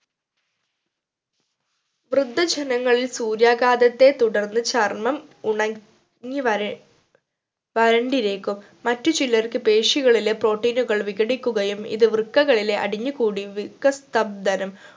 വൃദ്ധജനങ്ങളിൽ സൂര്യാഘാതത്തെ തുടർന്ന് ചർമ്മം ഉണങ്ങി വര വരണ്ടിരിക്കും മറ്റു ചിലർക് പേശികളിലെ protein കൾ വികടിക്കുകയും ഇത് വൃക്കകളിലെ അടിഞ്ഞു കൂടി വൃക്കസബ്‌ദനം